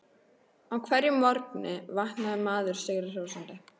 Á hverjum morgni vaknar maður sigri hrósandi.